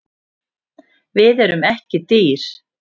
Við erum ekki dýr